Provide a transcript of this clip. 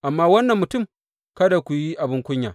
Amma wannan mutum, kada ku yi abin kunya.